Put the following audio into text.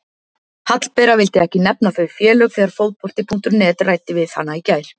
Hallbera vildi ekki nefna þau félög þegar Fótbolti.net ræddi við hana í gær.